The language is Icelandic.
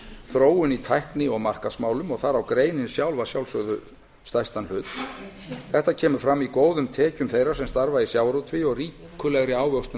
þróun í tækni og markaðsmálum þar á greinin sjálf að sjálfsögðu stærstan hlut þetta kemur fram í góðum tekjum þeirra sem starfa í sjávarútvegi og ríkulegri ávöxtun